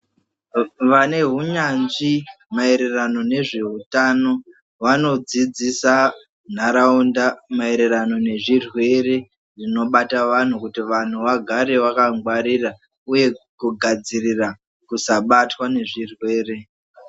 Vane hunyanzvi ma ererano nezve utano vano dzidzisa nharaunda maererano ne zvirwere zvino bata vanhu kuti vanhu vagare vaka ngwarira uye ku gadzirira ku sabatwa ne zvirwere.